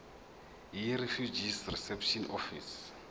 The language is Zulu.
yirefugee reception office